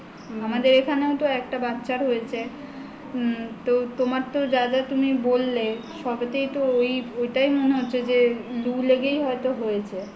আমাদের এখানেও তো একটা বাচ্ছার হয়েছে তো তোমার তো যা যা তুমি বললে সবেতো ওটাই মনে হচ্ছে যে লু লেগেই হয়ত হয়েছে